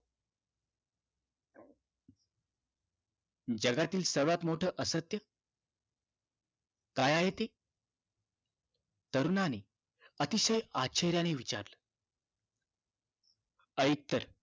जगातील सर्वात मोठं असत्य काय आहे ते तरुणाने अतिशय आशचर्याने विचारले ऐक तर